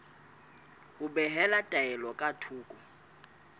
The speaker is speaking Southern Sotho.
ho behela taelo ka thoko